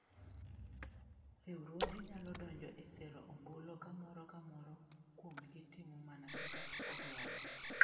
Riwruoge nyalo donjo e sero ombulu ka moro ka moro kuomgi timo mana kaka odwaro.